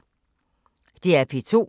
DR P2